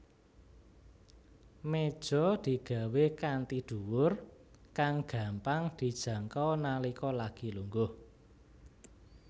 Méja digawé kanthi dhuwur kang gampang dijangkau nalika lagi lungguh